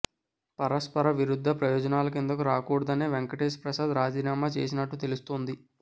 పరస్పర విరుద్ధ ప్రయోజనాల కిందకు రాకూడదనే వెంకటేశ్ ప్రసాద్ రాజీనామా చేసినట్టు తెలుస్తోంది